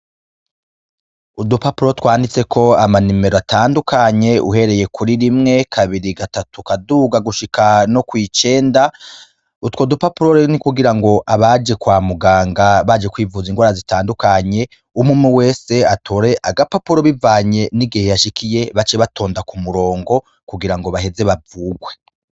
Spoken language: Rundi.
Udupapuro twanditse ko amanimero atandukanye uhereye kuri rimwe kabiri gatatu kaduga gushika no kw'icenda utwo dupapuro rero ni kugira ngo abaje kwa muganga baje kwivuza inrwara zitandukanye umumwe wese atore agapapuro bivanye n'igihe yashikiye bace batonda ku murongo kugira ngo baheze bavurwe.